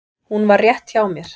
Hún var rétt hjá mér.